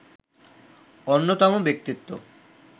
অন্যতম ব্যক্তিত্ব